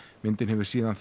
myndin hefur síðan